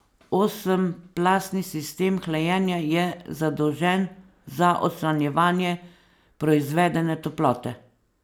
Osem plastni sistem hlajenja je zadolžen za odstranjevanje proizvedene toplote.